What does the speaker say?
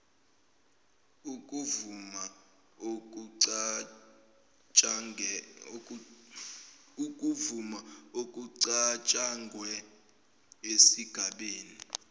ukuvuma okucatshangwe esigabeni